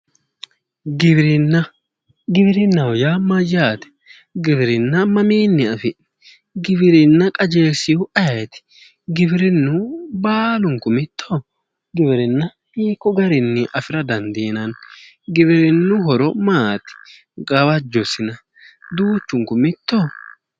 giwirinna giwirinnaho yaa mayyaate? giwirinna mamiinni afi'neemmo? giwirinna qajeelsiu ayeeti? giwirinnu baalunku mittoho? giwirinna hiikko garinni afira dandiinanni? giwirinna horo maati? gawajjosina? duuchunku mittoho?